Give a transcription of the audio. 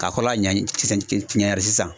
K'a kɔrɔla sisan